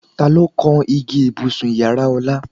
Ta ló kan igi ibùsùn ìyára Ọlá?